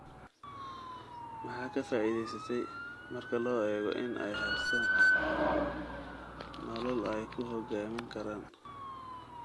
Maxaa ka faa'iideystey, marka loo eego in ay haystaan ??nolol ay ku hogaamin karaan?